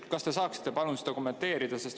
Kas te saaksite palun seda kommenteerida?